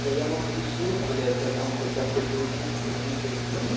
да я могу уснуть блять а там хоть авто перекус хоть мудрость будет